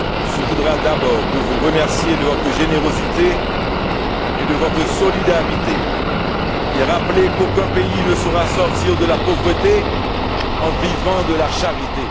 se voudra d'abord pour vous remercier de votre générosité et de votre solidarité et rappeler qu'aucun pays ne saura sortir de la pauvreté en vivant de la charité.